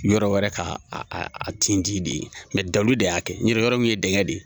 Yɔrɔ wɛrɛ ka a tinti de ye dalu de y'a kɛ, nɔtɛ yɔrɔ in kun ye dɛngɛ de ye.